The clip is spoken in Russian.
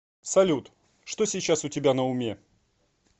салют что сейчас у тебя на уме